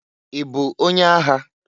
I bụ onye agha?